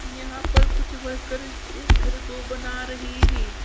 यहां पर कुछ वर्कर एक घर को बना रहे है।